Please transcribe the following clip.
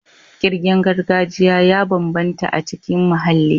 Ƙirgen gargajiya ya bambanta a cikin muhalli.